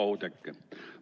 Hea Oudekki!